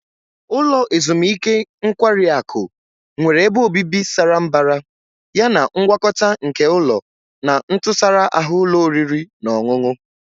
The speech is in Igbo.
Ulo ezimuike nkwari akụ nwere ebe obibi sara mbara yana ngwakọta nke ụlọ na ntụsara ahụ ụlọ oriri na ọṅụṅụ.